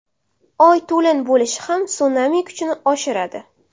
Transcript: Oy to‘lin bo‘lishi ham sunami kuchini oshiradi.